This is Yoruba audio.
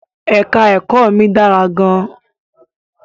Èka-ẹ̀kọ́ mi dára gan-an.